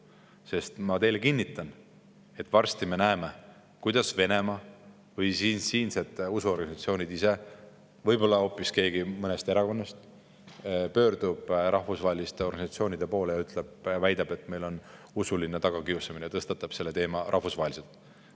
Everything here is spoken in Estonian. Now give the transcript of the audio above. Sest ma kinnitan teile, et varsti me näeme, kuidas Venemaa või siinsed usuorganisatsioonid ise, võib-olla hoopis keegi mõnest erakonnast pöördub rahvusvaheliste organisatsioonide poole ja väidab, et meil on siin usuline tagakiusamine, tõstatab selle teema rahvusvaheliselt.